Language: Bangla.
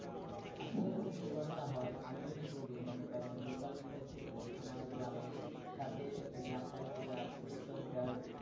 আসলে এরকম দুর্ঘটনা হয়। আমি যদি বলি মনে করেন local news এর ক্ষেত্রে আমার গ্রামের সাথে একটা গ্রাম থাকে যা হচ্ছে তিন কিলোমিটার